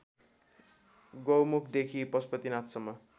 गौमुखदेखि पशुपतिनाथसम्म